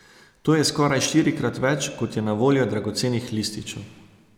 To je skoraj štirikrat več kot je na voljo dragocenih lističev.